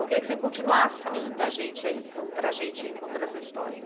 Eu queria que você continuasse falando da gente aí, para a gente, contando essa história.